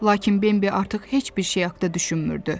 Lakin Bembi artıq heç bir şey haqda düşünmürdü.